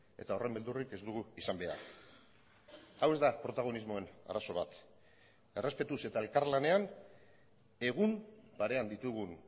eta horren beldurrik ez dugu izan behar hau ez da protagonismoen arazo bat errespetuz eta elkarlanean egun parean ditugun